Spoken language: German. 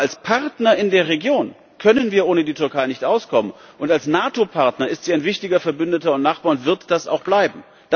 Aber als Partner in der Region können wir ohne die Türkei nicht auskommen, und als NATO Partner ist sie ein wichtiger Verbündeter und Nachbar und wird das auch bleiben.